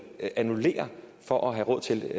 annullere for at have råd til